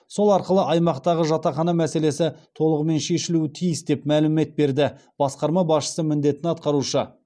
сол арқылы аймақтағы жатақхана мәселесі толығымен шешілуі тиіс деп мәлімет берді басқарма басшысы міндетін атқарушы